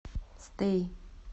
стэй